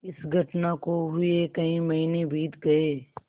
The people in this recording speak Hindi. इस घटना को हुए कई महीने बीत गये